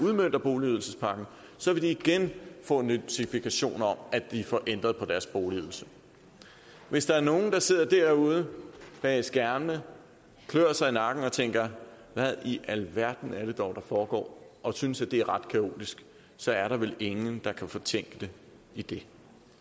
udmønter boligydelsespakken så vil de igen få notifikation om at de får ændret deres boligydelse hvis der er nogle der sidder derude bag skærmene og klør sig i nakken og tænker hvad i alverden der dog foregår og synes at det er ret kaotisk så er der vel ingen der kan fortænke dem i det